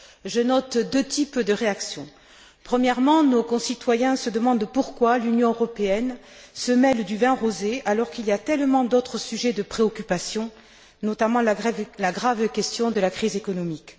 Je note deux types de réaction premièrement, nos concitoyens se demandent pourquoi l'Union européenne se mêle du vin rosé, alors qu'il y a tellement d'autres sujets de préoccupation, notamment la grave question de la crise économique.